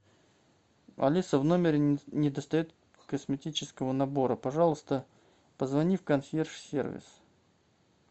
алиса в номере не достает косметического набора пожалуйста позвони в консьерж сервис